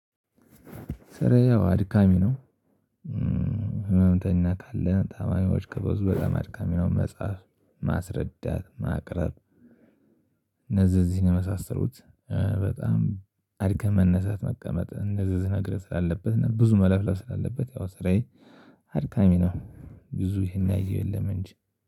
ከሬ ያው አድካሚ ነው። ህመምተኛ ካለ ታማኞች ከበዙ በጣም አድካሚ ነው። መጽሐፍ ማስረዳት ማቅረብ። እነዚህ እዚህን የመሳሰሉት በጣም አርከም መነሳት መቀመጥ እንደዚህ ዝነግርህ ስላለበት እና ብዙ መለፍለፍ ስላለበት ያው ስራዬ አድካሚ ነው። ብዙ ይሄን ያየው የለም እንጂ